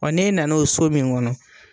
n'e nan'o so min ŋɔnɔ